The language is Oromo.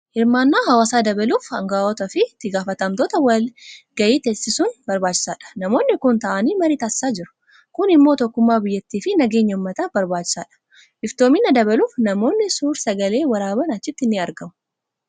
Hirmaannaa hawaasaa dabaluuf aangaa'otaa fi itti gaafatamtoota wal ga'ii teessisuun barbaachisaadha. Namoonni kun taa'anii marii taasisaa jiru. Kun immoo tokkummaa biyyattii fi nageenya uummataaf barbaachisaadha. Iftoomina dabaluuf namoonni suur-sagalee waraaban achitti ni argamu.